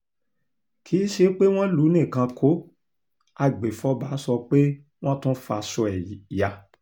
kì í ṣe pé wọ́n lù ú nìkan kó agbèfọ́ba sọ pé wọ́n tún fa aṣọ ẹ̀ ya